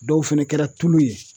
Dɔw fɛnɛ kɛra tulu ye